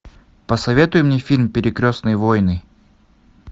посоветуй мне фильм перекрестные войны